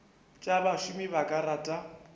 tša bašomi ba ka rata